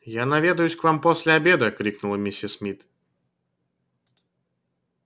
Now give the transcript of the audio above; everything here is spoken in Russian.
я наведаюсь к вам после обеда крикнула миссис мид